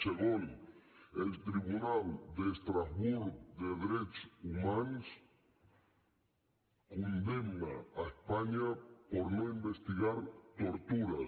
segon el tribunal d’estrasburg de drets humans condemna espanya per no investigar tortures